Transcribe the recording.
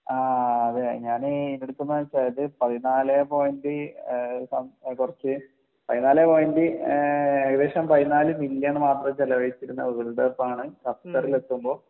ആഹ് അതെ ഞാന് വെച്ചാൽ പതിനാലെ പോയൻറ്റ് ഏഹ് കൊറച്ച് പതിനാലെ പോയൻറ്റ് ഏഹ് ഏകദേശം പതിനാല് ബില്യൺ മാത്രം ചെലവഴിച്ചിരുന്ന വേൾഡ് കപ്പാണ് ഖത്തർ ൽ എത്തുമ്പോ